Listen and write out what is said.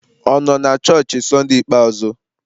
Ọ nọ na chọọchị Sunday ikpeazụ?